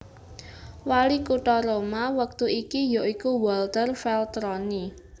Wali kutha Roma wektu iki ya iku Walter Veltroni